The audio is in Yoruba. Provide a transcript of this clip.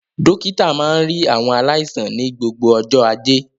Dókítà máa ń rí àwọn aláìsàn ní gbogbo ọjọ́ Ajé.